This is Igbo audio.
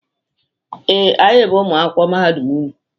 Ee, anyị bụ ụmụ akwụkwọ mahadum unu.